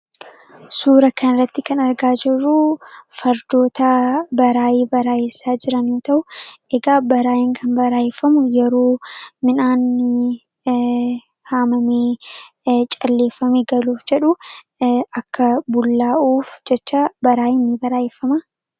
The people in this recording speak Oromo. Suura kana irratti kan argaa jirru fardoota baraayii baraayessaa jiranidha. Ta'us egaa baraayin kan baraayeffamu yeroo midhaan haamamee calleeffamee galuuf jedhu akka bullaa'uuf jecha baraayiin ni baraa'effama.